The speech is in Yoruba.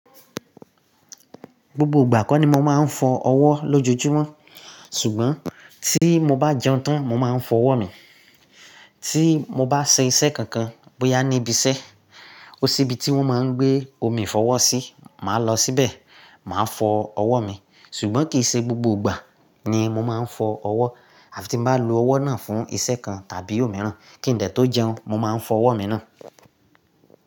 Gbogbo ìgbà kọ́ ni mo máa ń fọ ọwọ́ lójoojúmọ́, ṣùgbọ́n tí mo bá jẹun tán, mo máa ń fọ ọwọ́ mi. Tí mo bá ṣe iṣẹ́ kankan, bóyá ní ibi iṣẹ́, ó sí ibi tí wọ́n máa ń gbé omi ìfọwọ́ sí, màá lọ síbẹ̀, màá fọ ọwọ́ mi. Ṣùgbọ́n kìi ṣe gbogbo ìgbà ni mo máa ń fọ ọwọ́. Àfi tí mo bá lo ọwọ́ náà fún iṣẹ́ kan tàbí òmíràn, kíńde tó jẹun, mo máa ń fọ ọwọ́ mi ná.